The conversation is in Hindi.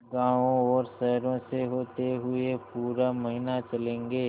गाँवों और शहरों से होते हुए पूरा महीना चलेंगे